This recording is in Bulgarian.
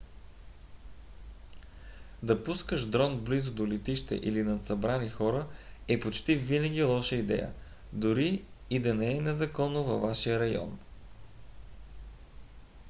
да пускаш дрон близо до летище или над събрани хора е почти винаги лоша идея дори и да не е незаконно във вашия район